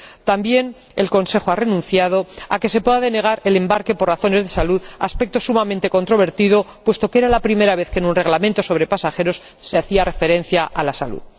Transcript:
También el Consejo ha renunciado a que se pueda denegar el embarque por razones de salud, aspecto sumamente controvertido puesto que era la primera vez que en un reglamento sobre pasajeros se hacía referencia a la salud.